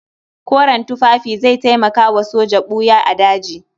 Koren tufafi zai taimaka wa soja ɓuya a daji.